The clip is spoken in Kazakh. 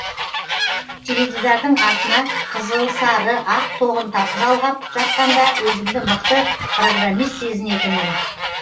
теледидардың артына қызыл сары ақ тоғын жалғап жатқанда өзімді мықты программист сезінетінмін